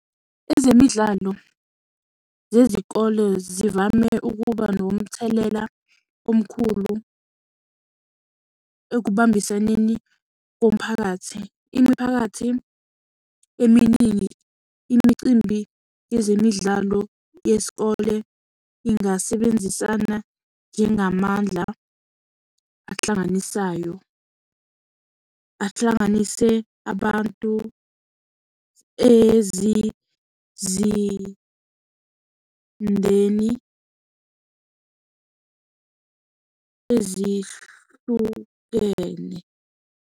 Ezemidlalo zezikole zivame ukuba nomthelela omkhulu ekubambiseneni komphakathi. Imiphakathi eminingi, imicimbi yezemidlalo yesikole ingasebenzisana njengamandla ahlanganisayo. Ahlanganise abantu ezizindeni ezihlukene.